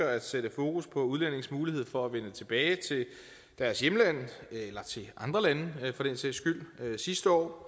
at sætte fokus på udlændinges mulighed for at vende tilbage til deres hjemland eller til andre lande for den sags skyld sidste år